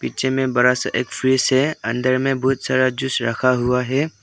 पीछे में एक बड़ा सा एक फ्रिज है अंदर में बहुत सारा जूस रखा हुआ है।